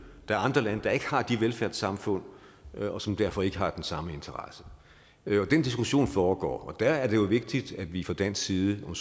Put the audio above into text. der er andre lande der ikke har de velfærdssamfund og som derfor ikke har den samme interesse den diskussion foregår og der er det jo vigtigt at vi fra dansk side om